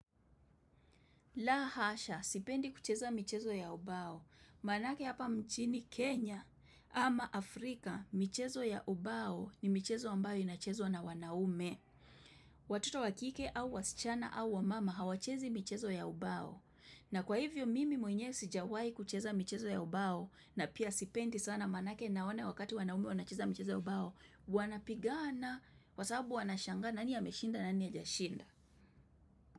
La hasha, sipendi kucheza michezo ya ubao. Manake hapa mchini Kenya ama Afrika, michezo ya ubao ni michezo ambayo inachezwa na wanaume. Watoto wakike au wasichana au wamama hawachezi michezo ya ubao. Na kwa hivyo mimi mwenyewe sijawai kucheza michezo ya ubao na pia sipendi sana manake na wana wakati wanaume wanacheza michezo ya ubao. Wanapigana, kwasababu wanashangana, nani ameshinda, nani hajashinda.